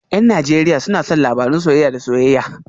Yan Najeriya suna son labarun soyayya da soyayya